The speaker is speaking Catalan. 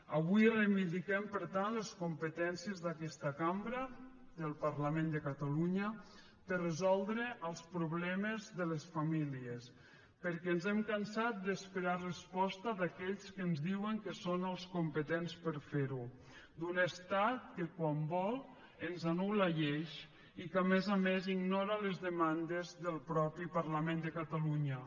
avui reivindiquem per tant les competències d’aquesta cambra del parlament de catalunya per a resoldre els problemes de les famílies perquè ens hem cansat d’esperar resposta d’aquells que ens diuen que són els competents per a fer ho d’un estat que quan vol ens anulmandes del mateix parlament de catalunya